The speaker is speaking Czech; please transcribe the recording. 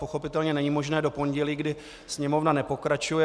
Pochopitelně není možné do pondělí, kdy Sněmovna nepokračuje.